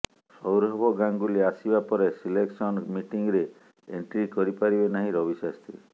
ସୌରଭ ଗାଙ୍ଗୁଲି ଆସିବା ପରେ ସିଲେକ୍ସନ ମିଟିଙ୍ଗରେ ଏଣ୍ଟ୍ରି କରିପାରିବେ ନାହିଁ ରବିଶାସ୍ତ୍ରୀ